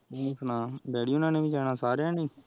ਤੂ ਸੁਨਾ ਦੀਦੀ ਹੋਣਾ ਨੇ ਵੀ ਜਾਣਾ ਸਰੇਯਾ ਨੇ